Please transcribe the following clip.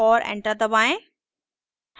और enter दबाएं